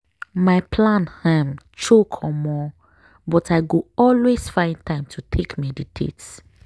my plan um choke omo!!! but i go always find time to take meditate.